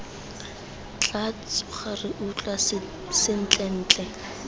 tla tsoga re utlwa sentlentle